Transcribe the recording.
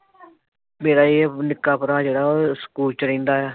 ਮੇਰਾ ਇਹ ਨਿੱਕਾ ਭਰਾ ਜਿਹੜਾ ਉਹ ਸਕੂਲ ਚ ਰਹਿੰਦਾ ਆ।